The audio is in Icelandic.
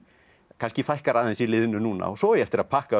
kannski fækkar aðeins í liðinu núna svo á ég eftir að pakka